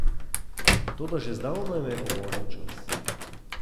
Vnaprej so podpisali predajo.